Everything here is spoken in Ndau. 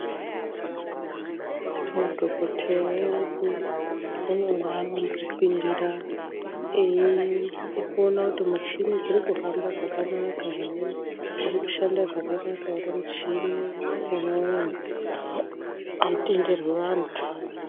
Madhokoteya edu ane mwaanombopinda eiona kuti muchini dziri kuhamba zvakanaka ere dziri kushanda zvakanaka ere muchini umwomwo amutenderwi vantu.